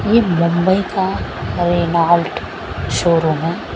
ये बम्बई का Renault showroom है।